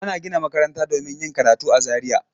Ana gina makaranta domin yin karatu a Zariya.